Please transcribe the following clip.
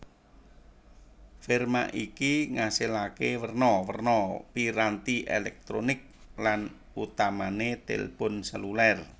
Firma iki ngasilaké werna werna piranti èlèktronik lan utamané tilpun sèlulêr